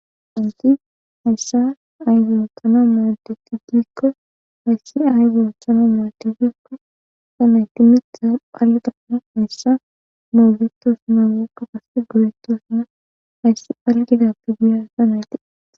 hanti hayssa ayzonthano moodeti gikko hayssi ay zoonchano mootefikko sanayti mitta phalgana haysha moogitosuna geekka kasse goretosuna hayssi phalgidappigiya sa nayti